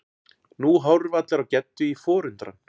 Nú horfa allir á Geddu í forundran.